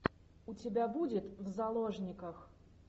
у тебя будет в заложниках